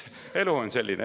Elu on selline.